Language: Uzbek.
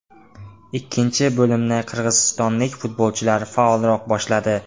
Ikkinchi bo‘limni qirg‘izistonlik futbolchilar faolroq boshladi.